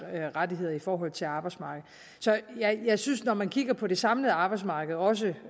rettigheder i forhold til arbejdsmarkedet så jeg synes at når man kigger på det samlede arbejdsmarked og også